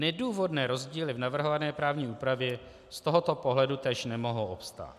Nedůvodné rozdíly v navrhované právní úpravě z tohoto pohledu též nemohou obstát.